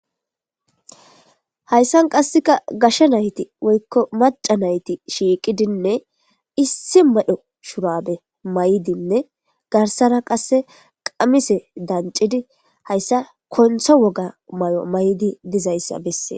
hayssan qasseka gasha nayti woykko maca nayti shiiqidinne issi madho shurabe maydinne garsara qasse qamise dancidi hayssa kontha woga mayo may7di dizayssa bessee